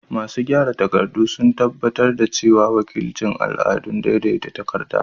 Masu gyara takardu sun tabbatar da cewa an wakilci al'adu daidai a takarda.